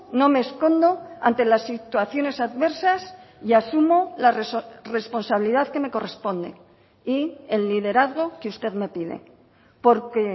no me escondo ante las situaciones adversas y asumo la responsabilidad que me corresponde y el liderazgo que usted me pide porque